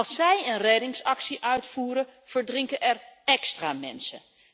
Als zij een reddingsactie uitvoeren verdrinken er nog meer mensen.